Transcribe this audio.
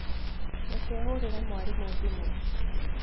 Reke hũrĩre mwarimũ thimũ.